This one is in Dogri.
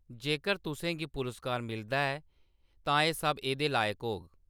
जेकर तुसें गी पुरस्कार मिलदा ऐ, तां एह्‌‌ सब एह्दे लायक होग।